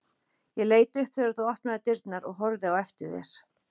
Ég leit upp þegar þú opnaðir dyrnar og horfði á eftir þér.